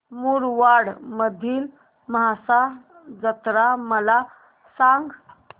मुरबाड मधील म्हसा जत्रा मला सांग